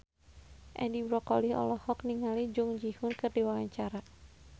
Edi Brokoli olohok ningali Jung Ji Hoon keur diwawancara